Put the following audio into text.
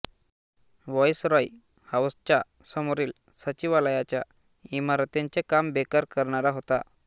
viceroy हाऊसच्या समोरील सचिवालयाच्या इमारतींचे काम बेकर करणार होता